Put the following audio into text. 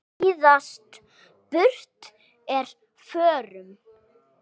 síðast burt er förum.